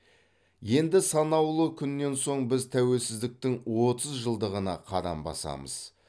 енді санаулы күннен соң біз тәуелсіздіктің отыз жылдығына қадам басамыз